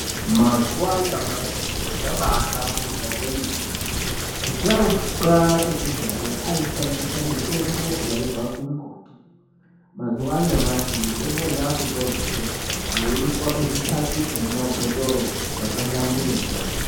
Mazuva anyamashi zviro mahlamburika zvemene vasharuka ekudhaya aishandisa mutombo yaibva kumumbuti mazuva anyamashi mitombo iyi yava kutorwa zve yeiiswa muzvipakiti ne mumabhotoro zvaka hlamburuka .